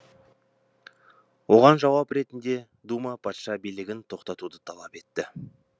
оған жауап ретінде дума патша билігін тоқтатуды талап етті